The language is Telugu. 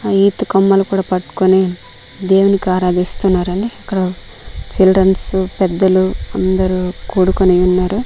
ఈత కొమ్మలు కూడా పట్టుకుని దేవ్వునికి ఆరాధిస్తున్నారండి ఇక్కడ చిల్డర్సన్ పెద్దలు అందరు కూడుకుని ఉన్నారు.